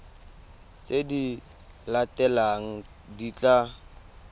tse di latelang di tla